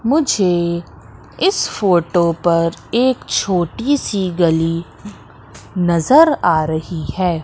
मुझे इस फोटो पर एक छोटी सी गली नजर आ रही है।